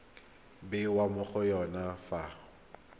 bewa mo go yone fa